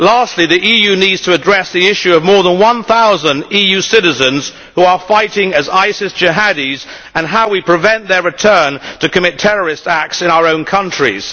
Lastly, the EU needs to address the issue of more than 1000 EU citizens who are fighting as ISIS jihadis and how we prevent their return to commit terrorist acts in our own countries.